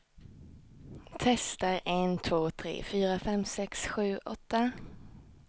Testar en två tre fyra fem sex sju åtta.